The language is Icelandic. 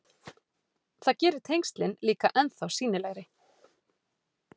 Það gerir tengslin líka ennþá sýnilegri.